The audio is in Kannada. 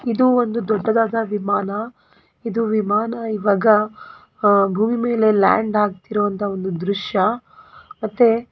ಇದು ಒಂದು ದೊಡ್ಡದಾದ ವಿಮಾನ ಇದು ವಿಮಾನ ಈವಾಗ ಅಹ್ ಭೂಮಿ ಮೇಲೆ ಲ್ಯಾಂಡ್ ಆಗುತ್ತಿರುವಂಥ ಒಂದು ದೃಶ್ಯ ಮತ್ತೆ --